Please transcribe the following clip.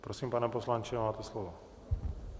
Prosím, pane poslanče, máte slovo.